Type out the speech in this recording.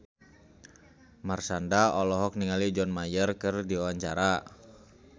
Marshanda olohok ningali John Mayer keur diwawancara